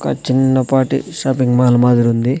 ఒక చిన్నపాటి shopping mall మాదిరుంది.